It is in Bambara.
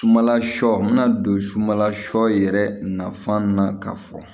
Sumanla sɔ bɛna don sumala sɔ yɛrɛ nafan na k'a fɔ